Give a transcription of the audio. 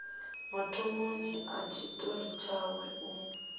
mathomoni a tshiṱori tshawe u